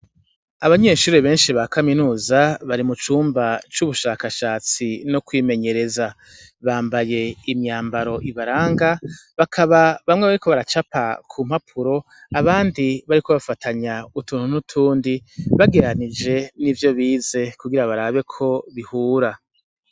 Abanyeshuri beshi bakaminuza bari mu cumba c'ubushakashatsi no kwimenyereza bambaye imyambaro ibaranga bakaba bamwe bariko baracapa ku mpapuro abandi bariko batanya utuntu n'utundi bagereranije nivyo bize kugira barabe ko bihura.